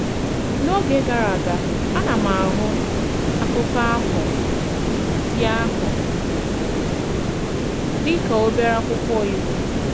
N’ógè gara aga, a na m ahụ̀ akụkọ̀ ahụ̀ dị ahụ̀ dị ka obere akwụkwọ iwu.